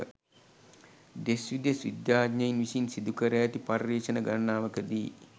දෙස් විදෙස් විද්‍යාඥයින් විසින් සිදුකර ඇති පර්යේෂණ ගණනාවක දී